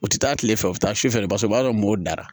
U tɛ taa kile fɛ u bɛ taa sufɛla bas o b'a sɔrɔ modara